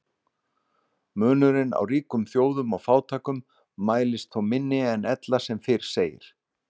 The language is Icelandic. Munurinn á ríkum þjóðum og fátækum mælist þó minni en ella sem fyrr segir.